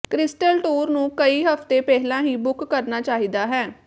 crystal tour ਨੂੰ ਕਈ ਹਫਤੇ ਪਹਿਲਾਂ ਹੀ ਬੁੱਕ ਕਰਨਾ ਚਾਹੀਦਾ ਹੈ